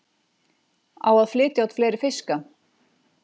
Á að flytja út fleiri fiska